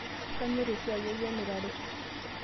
Kanyorr esiai ai emirare.